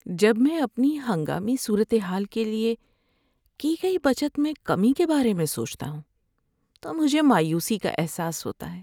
جب میں اپنی ہنگامی صورتحال کے لیے کی گئی بچت میں کمی کے بارے میں سوچتا ہوں تو مجھے مایوسی کا احساس ہوتا ہے۔